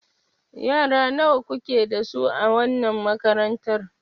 Yara nawa kuke da su a wannan makarantar?